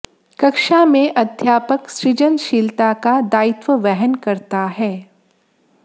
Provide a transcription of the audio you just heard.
कक्षा में अध्यापक सृजनशीलता का दायित्व वहन करता है